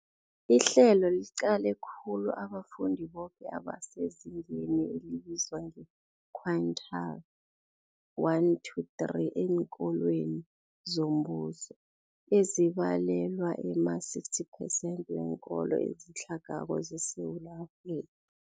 Ihlelo liqale khulu abafundi boke abasezingeni elibizwa nge-quintile 1-3 eenkolweni zombuso, ezibalelwa ema-60 phesenthi weenkolo ezitlhagako zeSewula Afrika.